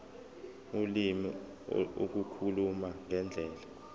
ulimi ukukhuluma ngendlela